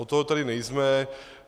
Od toho tady nejsme.